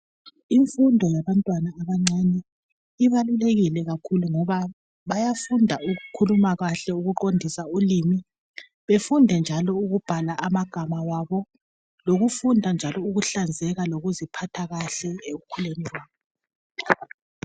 Imfundo yabantwana abancane ibalulekile kakhulu ngoba bayafunda ukukhuluma kahle ukuqondisa ulimi. Befunda njalo ukubhala amagama wabo lokufunda njalo ukuhlanzeka loku ziphatha kahle ekukhuleni kwabo.